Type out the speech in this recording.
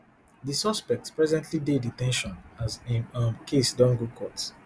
di suspect presently dey de ten tion as im um case don go court